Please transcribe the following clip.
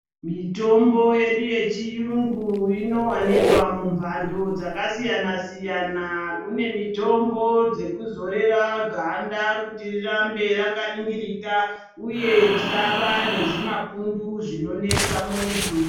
Mitombo yedu yechiyungu inowanikwa mumbando dzakasiyana-siyana. Kune mitombo dzekuzorera ganda kuti rirambe rakaningirika, uye risava nezvimapundu zvinonesa muntu.